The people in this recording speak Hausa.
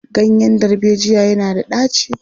Ganyen darbejiya yana da ɗaci.